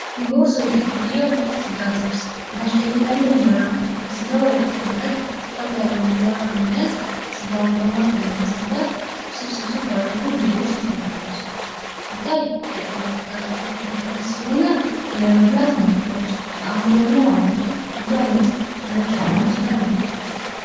ሊጎረሰው የጠቀለለው ስጋት ውስጥ ከታች ደግሞ ያለው እንጀራ በስጋ መረቅ ረጠብ የለውን እንጀራ በማዕከሉ ማስገባት ስብሰስብ አድርጎ የተዘጋጁ ዓለም ሲታይ ጥቅጥቅ አድርጎ የተከተፈ ስለሆነ ለመብላትም አይከብድም ጣዕሙ ደግሞ አሪፍ ብዙ አይነት መርቅ ምስሉ ላይ ያመለክታል።